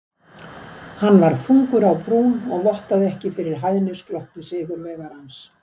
Hann var þungur á brún og vottaði ekki fyrir hæðnisglotti sigurvegarans.